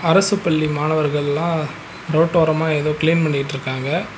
அரசு பள்ளி மாணவர்கள்லா ரோட்டோரமா எதோ கிளீன் பண்ணிட்ருக்காங்க.